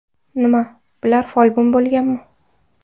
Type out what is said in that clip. Nima, bular folbin bo‘lganmi?